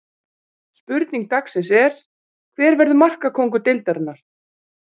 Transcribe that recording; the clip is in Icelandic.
Spurning dagsins er: Hver verður markakóngur deildarinnar?